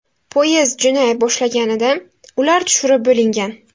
Poyezd jo‘nay boshlaganida ular tushirib bo‘lingan.